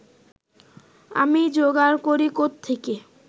আমি যোগাড় করি কোত্থেকে